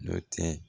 Nɔ tɛ